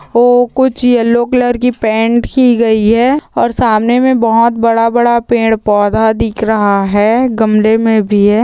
ओ कुछ yellow colour की paint की गई है और सामने मे बहुत बड़ा बड़ा पेड़ पौधा दिख रहा है गमले मे भी है।